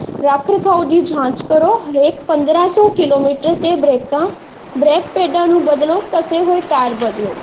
ਰੱਖ ਰਖਾਵ ਦੀ ਜਾਂਚ ਕਰੋ ਹਰੇਕ ਪੰਦਰਾਂ ਸੌ ਕਿਲੋਮੀਟਰ ਤੇ ਬਰੇਕਾਂ ਬ੍ਰੇਕ ਪੇਡਾ ਨੂੰ ਬਦਲੋ ਘਸੇ ਹੋਏ ਟਾਇਰ ਬਦਲੋ